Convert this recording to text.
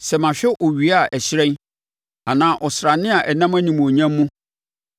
sɛ mahwɛ owia a ɛhyerɛn anaa ɔsrane a ɛnam animuonyam mu,